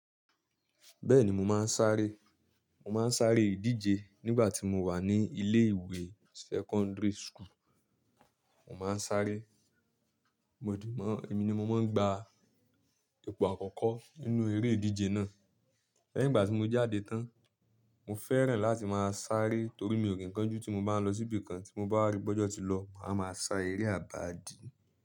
Bẹ́ẹ̀ni mo máa ń sáré. Mo máa ń sáré ìdíje nígbà tí mo wà ní ilé ìwé secondary school. Mo máa ń sáré. Mo di mọ́, èmi ni mo máa ń gba ipò àkọ́kọ́ nínú eré ìdíje náà. Lẹ́yìn ìgbà tí mo jáde tán, mo fẹ́ràn láti máa sáré torí mi ò kí ǹ kanju tí mo bá nlọ síbi kan tí mo bá wá rí pé ọ́jọ̀ tí lọ máa máa sá eré àbádi.